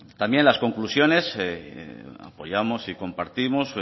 también las conclusiones que apoyamos y compartimos